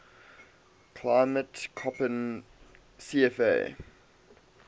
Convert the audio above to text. climate koppen cfa